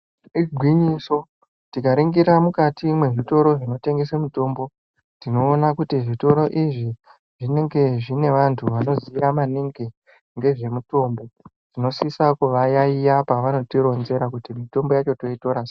Igwinyiso tikaringira mukati mwezvitoro zvinotengese mitombo tinoona kuti zvitoro izvi zvinenge zvine vantu vanoziya maningi ngezvemutombo tinosisa kuvayayeya pavanotironzera kuti mitombo yacho toitora sei.